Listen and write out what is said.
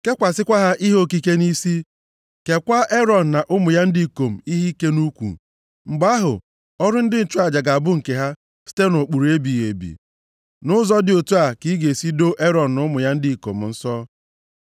Kekwasịkwa ha ihe okike nʼisi. Keekwa Erọn na ụmụ ya ndị ikom ihe ike nʼukwu. Mgbe ahụ ọrụ ndị nchụaja ga-abụ nke ha site nʼụkpụrụ ebighị ebi. “Nʼụzọ dị otu a ka ị ga-esi doo Erọn na ụmụ ya ndị ikom nsọ.